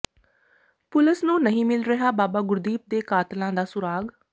ਪੁਲਸ ਨੂੰ ਨਹੀਂ ਮਿਲ ਰਿਹਾ ਬਾਬਾ ਗੁਰਦੀਪ ਦੇ ਕਾਤਲਾਂ ਦਾ ਸੁਰਾਗ